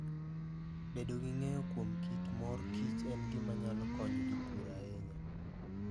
Bedo gi ng'eyo kuom kit mor kich en gima nyalo konyo jopur ahinya.